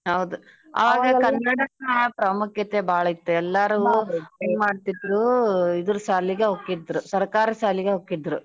ಹೌದ ಪ್ರಾಮುಖ್ಯತೆ ಬಾಳ್ ಇತ್ತ ಎಲ್ಲರೂ ಹಿಂಗ್ ಮಾಡ್ತಿದ್ರು ಇದ್ರ್ ಸಾಲಿಗೆೇ ಹೋಕ್ಕಿದ್ರು ಸರ್ಕಾರಿ ಸಾಲಿಗೆೇ ಹೋಕ್ಕಿದ್ರು.